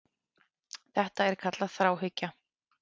Þetta er kallað þráhyggja.